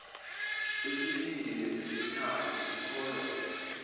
sesibili nesesithathu sikholwa